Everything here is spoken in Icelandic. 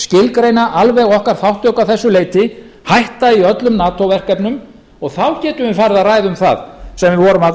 endurskilgreina alveg okkar þátttöku að þessu leyti hætta í öllum nato verkefnum og þá getum við farið að ræða um það sem við